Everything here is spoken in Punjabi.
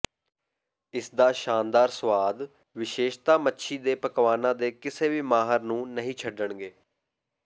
ਇਸਦਾ ਸ਼ਾਨਦਾਰ ਸਵਾਦ ਵਿਸ਼ੇਸ਼ਤਾ ਮੱਛੀ ਦੇ ਪਕਵਾਨਾਂ ਦੇ ਕਿਸੇ ਵੀ ਮਾਹਰ ਨੂੰ ਨਹੀਂ ਛੱਡਣਗੇ